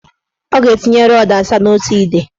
Ọ ga-etinye rọdụ asaa n' otu ide.